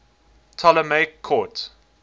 ptolemaic court